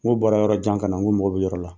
N'o bɔra yɔrɔ jan ka na n ko mɔgɔ bɛ yɔrɔ la.